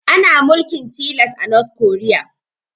Ana mulkin tilas a north korea